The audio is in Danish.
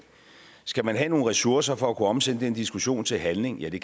skal man have nogle ressourcer for at kunne omsætte den diskussion til handling ja det